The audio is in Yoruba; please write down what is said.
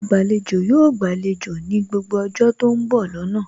Agbàlejò yóò gbàlejò ní gbogbo ọjọ́ tó ń bọ̀ lọ́nà